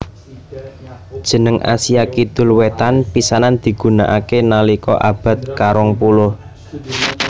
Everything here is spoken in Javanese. Jeneng Asia Kidul Wétan pisanan digunakaké nalika abad karong puluh